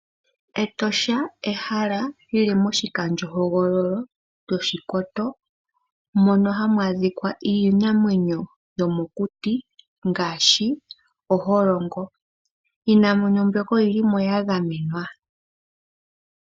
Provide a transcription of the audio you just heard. Etosha ehala li li moshikandjohogololo Oshikoto moka hamu adhika iinamwenyo yomokuti ngaashi oholongo. Iinamwenyo mbyoka oyi li mo ya gamenwa.